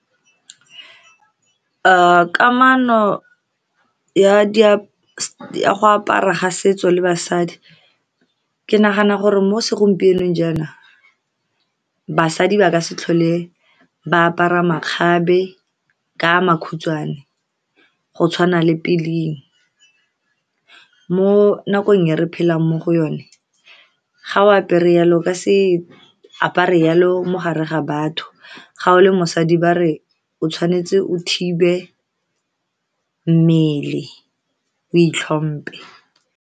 kamano ya go apara setso le basadi, ke nagana gore mo segompienong jaanong, basadi ba ka se tlhole ba apara makgabe ka makhutshwane go tshwana le pele. Mo nakong ya re phelang mo go yone, ga o apere yalo, ka se apare yalo, mogare ga batho, ga o le mosadi, ba re o tshwanetse o thibe mmele, o itlhompile.